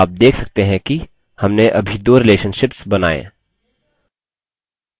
आप देख सकते हैं कि हमने अभी दो relationships बनाये